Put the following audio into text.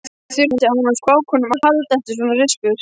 Yfirleitt þurfti hann á spákonum að halda eftir svona rispur.